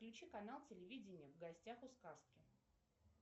включи канал телевидение в гостях у сказки